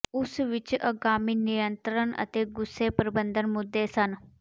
ਉਸ ਵਿੱਚ ਅਗਾਮੀ ਨਿਯੰਤਰਣ ਅਤੇ ਗੁੱਸੇ ਪ੍ਰਬੰਧਨ ਮੁੱਦੇ ਸਨ